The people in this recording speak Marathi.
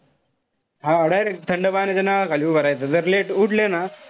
हा direct थंड पाण्याच्या नळाखाली उभं राहायचं. जर late उठले ना,